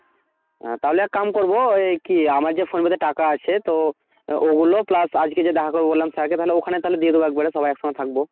আহ তাহলে এক কাম করব এই কি আমার যে ফোনের মধ্যে টাকা আছে তো আহ ওগুলো plus আজকে যে দেখা করব বললাম sir কে তাহলে ওখানে তাহলে দিয়ে দেবো একবারে সবাই একসঙ্গে থাকবো